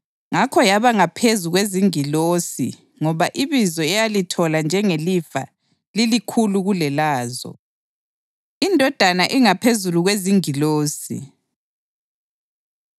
Ngakho yaba ngaphezu kwezingilosi ngoba ibizo eyalithola njengelifa lilikhulu kulelazo. INdodana Ingaphezulu Kwezingilosi